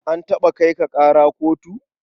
An taɓa kai ka ƙara kotu?